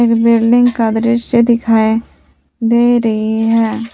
Building का दृश्य दिखाई दे रही है।